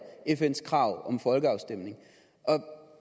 fns krav om en folkeafstemning